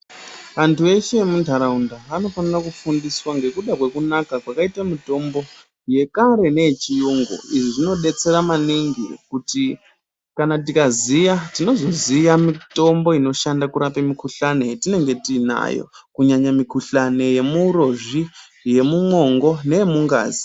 Antu eshe emuntaraunda anofanira kufundiswa ngekuda kwekunaka kwakaite mitombo yekare neyechiyungu. Izvi zvinodetsera maningi kuti kana tikaziya tinozoziya mitombo inorape mukuhlani yatinenge tiinayo. Kunyanya mikuhlani yemuurozvi, yemumwongo neyemungazi.